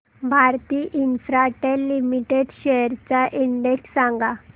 Bharti Infratel limited shares चा index सांगा